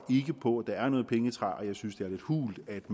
på at der er noget pengetræ og jeg synes det er lidt hult